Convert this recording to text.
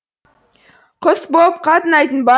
құс боп қатынайтын ба